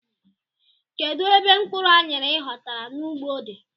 Kedụ ebe mkpụrụ anyara i ghotara n' ụgbọ dị?